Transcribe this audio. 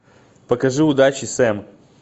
покажи удачи сэм